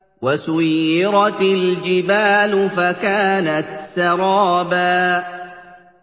وَسُيِّرَتِ الْجِبَالُ فَكَانَتْ سَرَابًا